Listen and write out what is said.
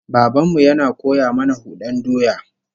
Baban mu yana koya mana hudan doya